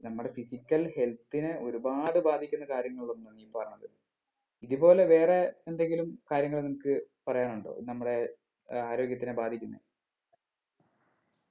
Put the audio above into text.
നമ്മടെ physical health നെ ഒരുപാട് ബാധിക്കുന്ന കാര്യങ്ങളൊന്നാണ് ഈ പറഞ്ഞത്. ഇതുപോലെ വേറെ എന്തെങ്കിലും കാര്യങ്ങൾ നിനക്ക് പറയാൻ ഉണ്ടോ നമ്മടെ ഏർ ആര്യോഗത്തിന് ബാധിക്കുന്നെ?